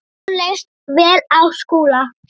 Honum leist vel á Skúla.